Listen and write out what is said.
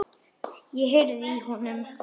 Ég heyrði í honum!